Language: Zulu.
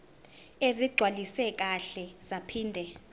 ezigcwaliswe kahle zaphinde